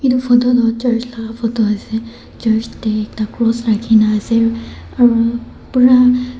etu photo toh church la photo ase church te ekta cross rakhine ase aru pura.